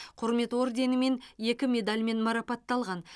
құрмет орденімен екі медальмен марапатталған